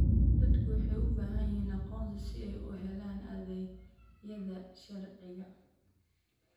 Dadku waxay u baahan yihiin aqoonsi si ay u helaan adeegyada sharciga.